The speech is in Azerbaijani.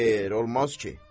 Xeyr, olmaz ki.